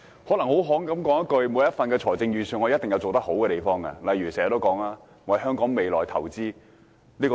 概括而言，每份預算案一定有做得好的地方，例如預算案重申要為香港未來投資。